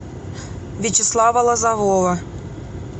вячеслава лозового